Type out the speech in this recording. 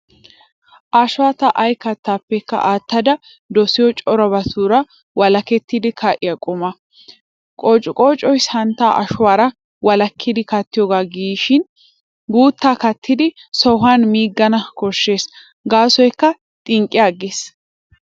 Ashuwaa ta ay kaattaappekka aattada dosiyo corabatura wolakketti ka'iya quma. Qoociqoocoy santtaa ashuwaara wolakkidi kattoogaa gishin guuttaa kattidi sohuwan miigana koshshes gaasoykka xinqqi agges.